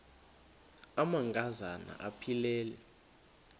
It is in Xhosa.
amanka zana aphilele